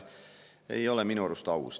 See ei ole minu arust aus.